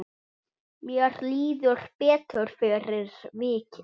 Mér líður betur fyrir vikið.